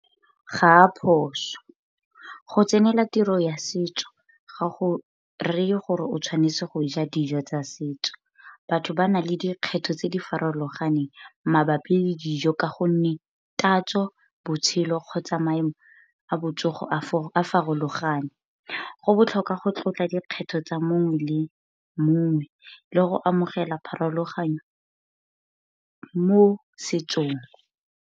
Ga a a phoso, go tsenela tiro ya setso ga go reye gore o tshwanetse go ja dijo tsa setso. Batho ba nang le dikgetho tse di farologaneng mabapi le dijo ka gonne tatso, botshelo, kgotsa maemo a botsogo a farologane. Go botlhokwa go tlotla dikgetho tsa mongwe le mongwe le go amogela pharologanyo mo setsong.